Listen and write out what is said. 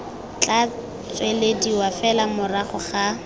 tla tswelediwa fela morago ga